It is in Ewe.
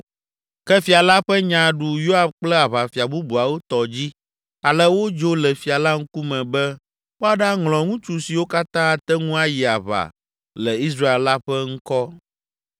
Ke fia la ƒe nya ɖu Yoab kple aʋafia bubuawo tɔ dzi ale wodzo le fia la ŋkume be woaɖaŋlɔ ŋutsu siwo katã ate ŋu ayi aʋa le Israel la ƒe ŋkɔ.